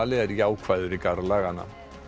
er jákvæður í garð laganna